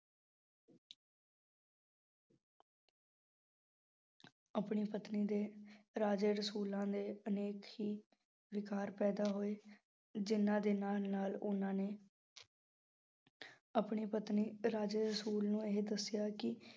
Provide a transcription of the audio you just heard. ਆਪਣੀ ਪਤਨੀ ਦੇ ਰਾਜੇ ਰਸੂਲਾਂ ਦੇ ਅਨੇਕ ਹੀ ਵਿਕਾਰ ਪੈਦਾ ਹੋਏ, ਜਿਹਨਾਂ ਦੇ ਨਾਲ ਨਾਲ ਉਹਨਾਂ ਨੇ ਆਪਣੀ ਪਤਨੀ ਰਾਜੇ ਰਸੂਲ ਨੂੰ ਇਹ ਦੱਸਿਆ ਕਿ